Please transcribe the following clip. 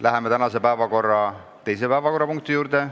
Läheme tänase päevakorra teise punkti juurde.